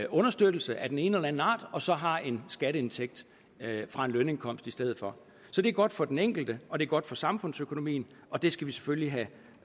understøttelse af den ene aller anden art og så har en skatteindtægt fra en lønindkomst i stedet for så det er godt for den enkelte og det er godt for samfundsøkonomien og det skal vi selvfølgelig